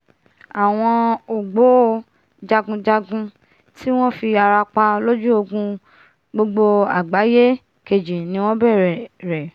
àwọn ògbó-jagunjagun tí wọ́n fi ara pa lójú ogun gbogbo àgbáyé kejì ni wọ́n bẹ̀rẹ̀ rẹ̀